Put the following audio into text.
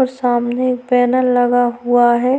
और सामने एक बैनर लगा हुआ है